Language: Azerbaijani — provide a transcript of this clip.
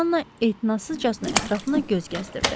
Janna ehtinassızcasına ətrafına göz gəzdirdi.